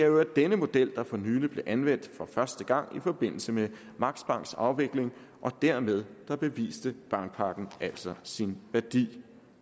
i øvrigt denne model der for nylig blev anvendt for første gang i forbindelse med max banks afvikling og dermed beviste bankpakken altså sin værdi